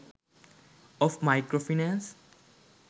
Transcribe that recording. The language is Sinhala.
of micro finance